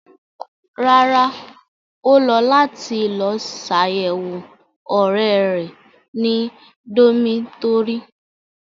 Rárá, o lọ lati lọ ṣayẹwo ọrẹ rẹ ni domitọri